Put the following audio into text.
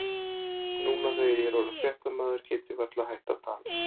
Nú þegar ég er orðinn fréttamaður get ég varla hætt að tala.